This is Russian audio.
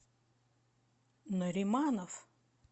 нариманов